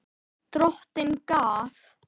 Drottin gaf.